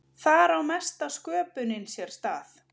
þar á mesta sköpunin sér stað